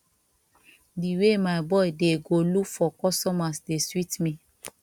the way my boy dey go look for customers dey sweet me